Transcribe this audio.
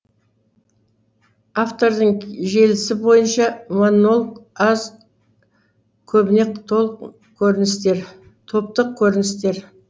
автордың желісі бойынша монолог аз көбіне топтық көріністер